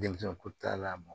Denmisɛn ko ta la